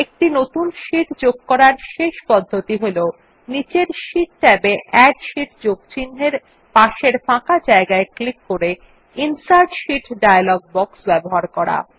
একটি নতুন শীট যোগ করার শেষ পদ্ধতি হল নীচের শীট ট্যাব এ এড শীট যোগ চিন্হের পাশের ফাঁকা জায়গায় ক্লিক করে ইনসার্ট শীট ডায়লগ বক্স ব্যবহার করা